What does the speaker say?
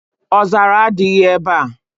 Ọzara adịghị ebe a.